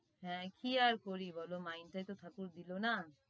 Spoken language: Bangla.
হ্যাঁ কি আর করি বল mind তাইতো ঠাকুর দিলনা।